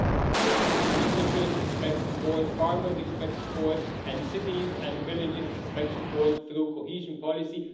Students and researchers expect support, farmers expect support, and cities and villages expect support through cohesion policy.